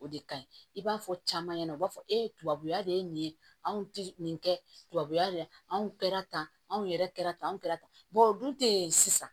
O de ka ɲi i b'a fɔ caman ɲɛna u b'a fɔ ebabu ya de ye nin ye anw tɛ nin kɛ tubabuya de ye anw kɛra tan anw yɛrɛ kɛra tan anw kɛra tan o dun tɛ sisan